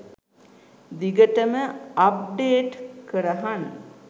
දිගටම අප්ඩේට් කරහං .